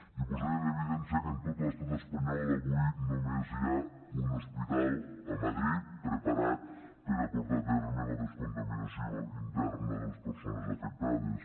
i posaria en evidència que en tot l’estat espanyol avui només hi ha un hospital a madrid preparat per a portar a terme la descontaminació interna de les persones afectades